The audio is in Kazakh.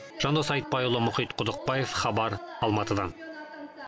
жандос айтбайұлы мұхит құдықбаев хабар алматыдан